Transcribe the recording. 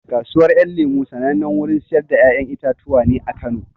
Kasuwar ƴan lemo sanannen wurin siyar da ƴaƴan itatuwa ne a Kano